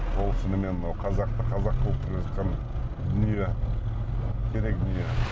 ол шынымен мынау қазақты қазақ қылып келе жатқан дүние керек дүние